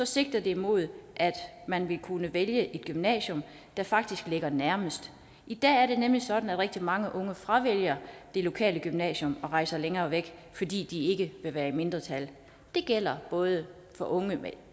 sigter det mod at man vil kunne vælge det gymnasium der faktisk ligger nærmest i dag er det nemlig sådan at rigtig mange unge fravælger det lokale gymnasium og rejser længere væk fordi de ikke vil være i mindretal det gælder både for unge med